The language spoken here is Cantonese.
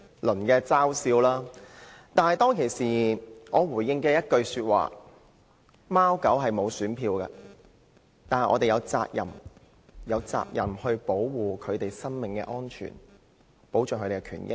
但是，我當時回應一句，指貓狗沒有選票，但我們有責任保護牠們的生命安全，保障牠們的權益。